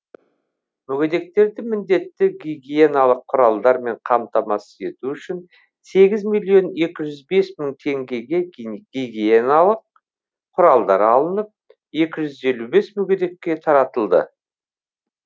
мүгедектерді міндетті гигиеналық құралдармен қамтамасыз ету үшін сегіз миллион екі жүз бес мың теңгеге гигиеналық құралдар алынып екі жүз елу тоғыз мүгедекке таратылды